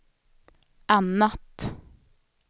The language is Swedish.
annat